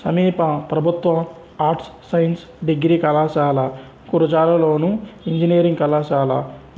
సమీప ప్రభుత్వ arts science degree కళాశాల గురజాలలోను ఇంజనీరింగ్ కళాశాల